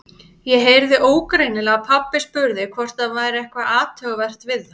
Ég heyrði ógreinilega að pabbi spurði hvort það væri eitthvað athugavert við þá.